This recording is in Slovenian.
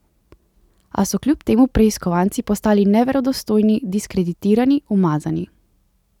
A so kljub temu preiskovanci postali neverodostojni, diskreditirani, umazani.